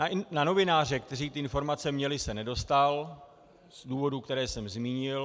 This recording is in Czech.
Na novináře, kteří ty informace měli, se nedostal z důvodů, které jsem zmínil.